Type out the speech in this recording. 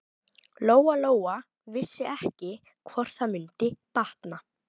Lóa Lóa vissi ekki hvort það mundi batna.